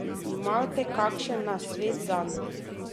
Imate kakšen nasvet zanj?